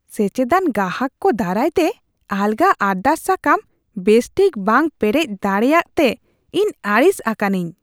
ᱥᱮᱪᱮᱫᱟᱱ ᱜᱟᱦᱟᱠ ᱠᱚ ᱫᱟᱨᱟᱭ ᱛᱮ ᱟᱞᱜᱟ ᱟᱨᱫᱟᱥ ᱥᱟᱠᱟᱢ ᱵᱮᱥ ᱴᱷᱤᱠ ᱵᱟᱝ ᱯᱮᱨᱮᱡ ᱫᱟᱲᱮᱭᱟᱜ ᱛᱮ ᱤᱧ ᱟᱹᱲᱤᱥ ᱟᱠᱟᱱᱟᱹᱧ ᱾ (ᱜᱮᱥ ᱮᱡᱮᱱᱥᱤ ᱨᱟᱹᱥᱤᱭᱟᱹ)